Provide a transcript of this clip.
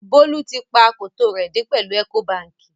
Bolu tì pa akòtó rẹ dẹ̀ pẹ̀lú Ecobankì.